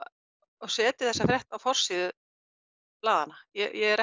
og setja þessa frétt á forsíðu blaðanna ég er